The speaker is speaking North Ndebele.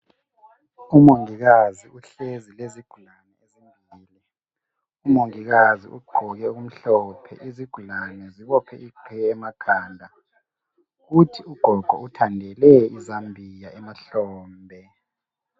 Umongikazi uhlezi lezigulane. Umongikazi ugqoke okumhlophe. Izigulane zibophe iqhiye emakhanda. Kuthi ugogo uthandele izambia emahlombe.